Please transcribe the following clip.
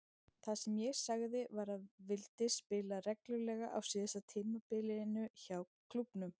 Það sem ég sagði var að vildi spila reglulega á síðasta tímabilinu hjá klúbbnum.